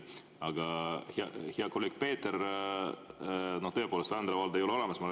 Aga hea kolleeg Peeter, tõepoolest, Vändra valda ei ole olemas.